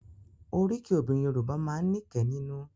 Oríkì obìnrin Yorùbá máa ń ní kẹ́ nínú